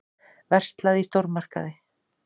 Verslað í stórmarkaði.